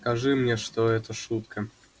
скажи мне что это шутка